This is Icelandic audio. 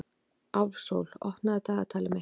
Álfsól, opnaðu dagatalið mitt.